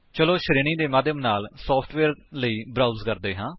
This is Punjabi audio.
ਚਲੋ ਸ਼੍ਰੇਣੀ ਦੇ ਮਾਧਿਅਮ ਨਾਲ ਸੋਫਟਵੇਅਰ ਲਈ ਬਰਾਉਜ ਕਰਦੇ ਹਾਂ